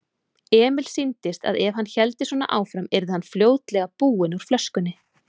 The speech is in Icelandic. Emil sýndist að ef hann héldi svona áfram yrði hann fljótlega búinn úr flöskunni.